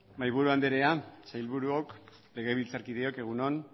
mahaiburu andrea sailburuok legebiltzarkideok egun on